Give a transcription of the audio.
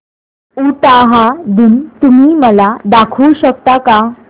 उटाहा दिन तुम्ही मला दाखवू शकता का